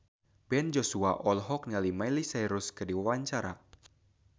Ben Joshua olohok ningali Miley Cyrus keur diwawancara